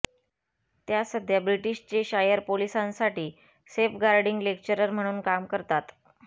त्या सध्या British Cheshire पोलिसांसाठी सेफगार्डिंग लेक्चरर म्हणून काम करतात